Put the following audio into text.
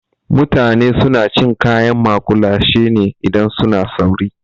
Mutane suna cin kayan maƙulashe ne idan suna sauri.